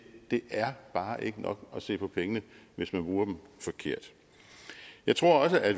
er bare ikke nok at se på pengene hvis man bruger dem forkert jeg tror også at